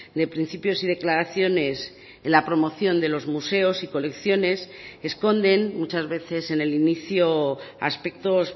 de principios y declaraciones en la promoción de los museos y colecciones esconden muchas veces en el inicio aspectos